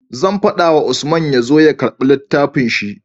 Zan fada wa Usman yazo ya karbi littafin shi